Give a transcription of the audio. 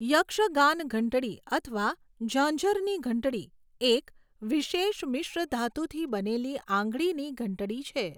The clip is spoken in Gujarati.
યક્ષગાન ઘંટડી અથવા ઝાંઝરની ઘંટડી એક વિશેષ મિશ્ર ધાતુથી બનેલી આંગળીની ઘંટડી છે.